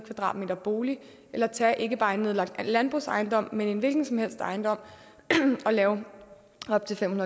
m² bolig eller tage ikke bare en nedlagt landbrugsejendom men en hvilken som helst ejendom og lave op til fem